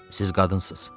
Siz qadınsınız.